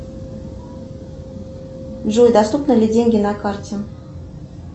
джой доступны ли деньги на карте